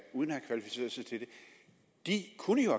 uden at have kvalificeret sig til det kunne jo